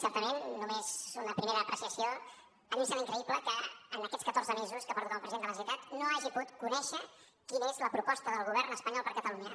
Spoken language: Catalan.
certament una primera apreciació a mi em sembla increïble que en aquests catorze mesos que porto com a president de la generalitat no hagi pogut conèixer quina és la proposta del govern espanyol per a catalunya